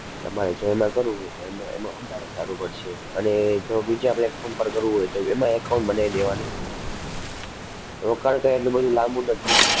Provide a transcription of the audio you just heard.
તમારે જો એમાં કરવું હોય તો એમાં એમાં વધારે સારું પડશે અને જો બીજા platform પર કરવું હોય તો એમાં account બનાવી દેવાનું. રોકાણ કઈ એટલું બધુ લાંબુ નથી.